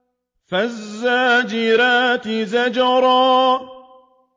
فَالزَّاجِرَاتِ زَجْرًا